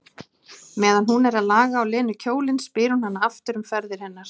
Meðan hún er að laga á Lenu kjólinn spyr hún hana aftur um ferðir hennar.